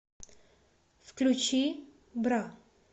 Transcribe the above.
включи бра